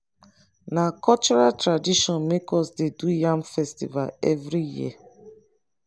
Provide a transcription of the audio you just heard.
na cultural tradition make us dey do yam festival every year